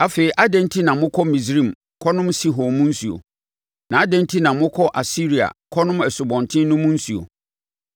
Afei adɛn enti na mokɔ Misraim kɔnom Sihor mu nsuo? Na adɛn enti na mokɔ Asiria kɔnom Asubɔnten no mu nsuo?